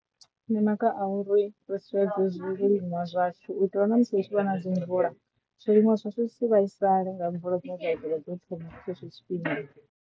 Ndi maga a uri ri sedze zwi re liṅwa zwashu itelwa na musi hu tshi vha na dzi mvula, zwiliṅwa zwithu zwi si vhaisale nga mvula dziṅwe dza ḓovha dzo thoma tshetsho tshifhinga.